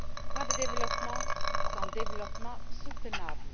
Pas de développement sans développement durable.